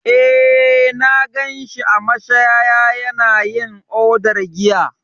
Eh, na gan shi a mashaya yana yin odar giya.